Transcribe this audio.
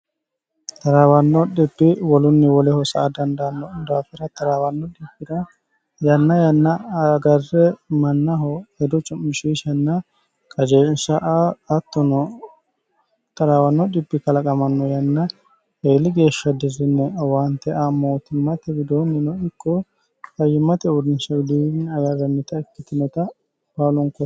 taraawanno dhibbi wolunni woleho sa a dandaanno daafira taraawanno dhibbi'ra yanna yanna agarre mannaho hedo cu'mishishnna qajeelsha aa hattono taraawanno dhibbi kalaqamanno yanna heeli geeshsha dirine waante a mootimmate widoonnino ikko fayimmate uurnisha widnni aaarammit ikkitineta baaloonkoo